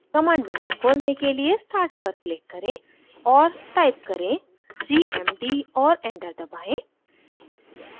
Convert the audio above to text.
command window खोलने के लिए start पर क्लिक करें और टाइप करें cmd और एंटर दबाएं